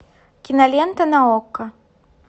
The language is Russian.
кинолента на окко